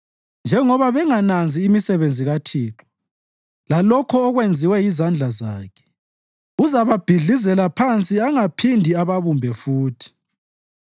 Njengoba bengananzi imisebenzi kaThixo lalokho okwenziwe yizandla zakhe, uzababhidlizela phansi angaphindi ababumbe futhi.